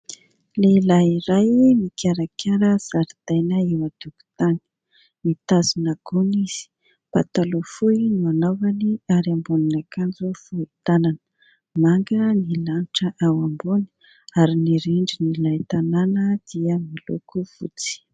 Lehilahy iray mikarakara zaridaina eo an-tokotany, mitazona gony izy ; pataloha fohy no anaovany ary ambonin'akanjo fohy tanana. Manga ny lanitra ao ambony ary ny rindrin'ilay tanàna dia miloko fotsy.